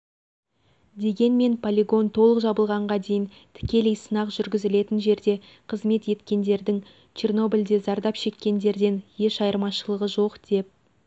дегенмен полигон толық жабылғанға дейін тікелей сынақ жүргізілетін жерде қызмет еткендердің чернобльде зардап шеккендерден еш айырмашылығы жоқ деп